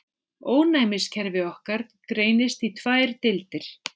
Ónæmiskerfi okkar greinist í tvær deildir.